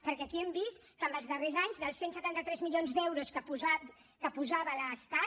perquè aquí hem vist que en els darrers anys dels cent i setanta tres milions d’euros que posava l’estat